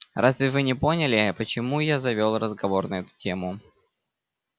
разве вы не поняли почему я завёл разговор на эту тему